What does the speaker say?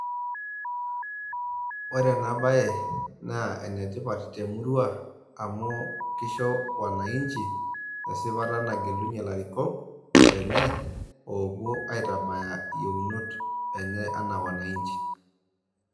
Ore ena bae naa enetipat te murua amu keisho wananchi esipata nagelunye ilarikok lenye oowuo aitabaya iyieuonot enye anaa wananchi.